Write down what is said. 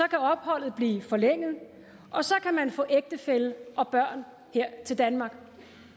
kan opholdet blive forlænget og så kan man få ægtefælle og børn her til danmark